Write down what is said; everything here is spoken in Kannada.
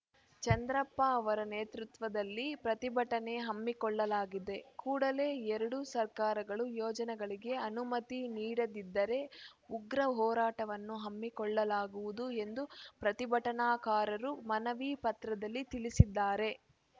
ಚಂದ್ರಪ್ಪ ಅವರ ನೇತೃತ್ವದಲ್ಲಿ ಪ್ರತಿಭಟನೆ ಹಮ್ಮಿಕೊಳ್ಳಲಾಗಿದೆ ಕೂಡಲೇ ಎರಡೂ ಸರ್ಕಾರಗಳು ಯೋಜನೆಗಳಿಗೆ ಅನುಮತಿ ನೀಡದಿದ್ದರೆ ಉಗ್ರ ಹೋರಾಟವನ್ನು ಹಮ್ಮಿಕೊಳ್ಳಲಾಗುವುದು ಎಂದು ಪ್ರತಿಭಟನಾಕಾರರು ಮನವಿ ಪತ್ರದಲ್ಲಿ ತಿಳಿಸಿದ್ದಾರೆ